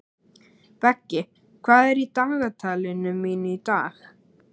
Beggi, hvað er í dagatalinu mínu í dag?